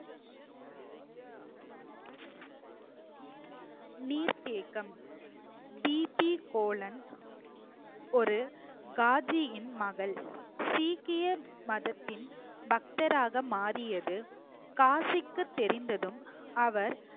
நீர்த்தேக்கம் டிபி கோலன் ஒரு காஜியின் மகள் சீக்கியர் மதத்தின் பக்தராக மாறியது காஜிக்கு தெரிந்ததும் அவர்